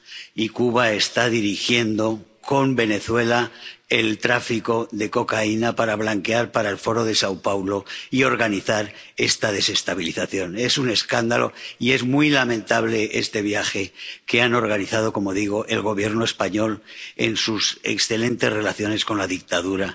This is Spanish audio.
y Cuba está dirigiendo, con Venezuela, el tráfico de cocaína para blanquear dinero para el Foro de São Paulo y organizar esta desestabilización. Es un escándalo y es muy lamentable este viaje que ha organizado —como digo— el Gobierno español, en excelentes relaciones con la dictadura